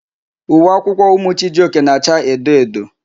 Uwe akwụkwọ ụmụ Chijioke na-acha edo edo.